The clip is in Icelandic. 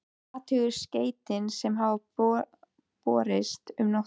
Og athugar skeytin sem hafa borist um nóttina?